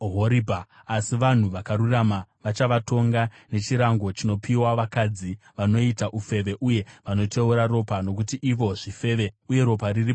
Asi vanhu vakarurama vachavatonga nechirango chinopiwa vakadzi vanoita ufeve uye vanoteura ropa, nokuti ivo zvifeve uye ropa riri pamaoko avo.